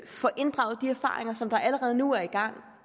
får inddraget de erfaringer som der allerede nu er